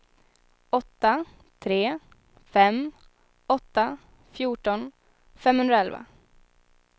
åtta tre fem åtta fjorton femhundraelva